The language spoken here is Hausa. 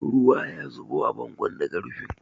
Ruwa ya zubo a bangon daga rufin.